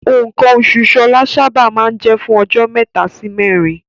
Nǹkan oṣù Ṣọlá sábà máa ń jẹ́ fún ọjọ́ mẹ́ta sí mẹ́rin.